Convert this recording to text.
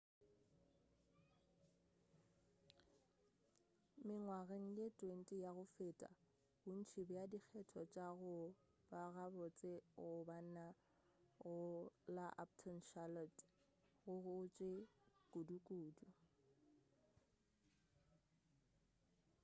mengwageng ye 20 ya go feta bontši bja dikgetho tša go ba gabotse go bana go la uptown charlotte go gotše kudukudu